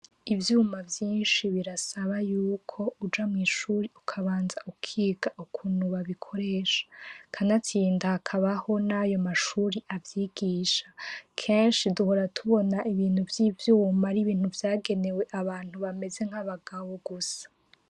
Ivyuma vyinshi birasaba yuko uja mw'ishure ukabanza ukiga ukuntu babikoresha, kanatsinda hakabaho nayomashure avyigisha, kenshi duhora tubona ibintu vyivyuma aribintu vyagenewe abantu bameze nk'abagabo gusa.